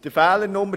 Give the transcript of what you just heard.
Fehler 2